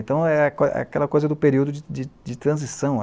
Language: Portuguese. Então, é aquela coisa do período de, de transição.